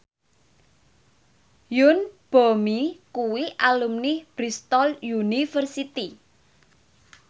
Yoon Bomi kuwi alumni Bristol university